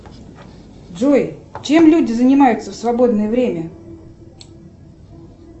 джой чем люди занимаются в свободное время